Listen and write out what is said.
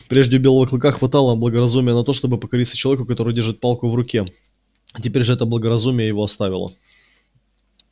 прежде у белого клыка хватало благоразумия на то чтобы покориться человеку который держит палку в руке теперь же это благоразумие его оставило